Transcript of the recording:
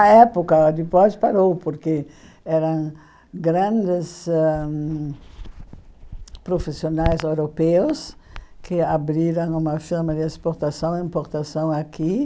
A época do importe parou, porque eram grandes ãh profissionais europeus que abriram uma firma de exportação e importação aqui.